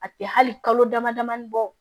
A tɛ hali kalo dama damani bɔ